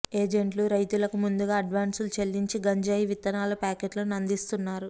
ఏజెంట్లు రైతులకు ముందుగా అడ్వాన్సులు చెల్లించి గంజాయి విత్తనాల ప్యాకెట్లను అందిస్తున్నారు